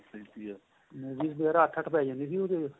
movies ਵਗੇਰਾ ਅੱਠ ਅੱਠ ਪੇ ਜਾਦੀਆਂ ਉਹਦੇ ਚ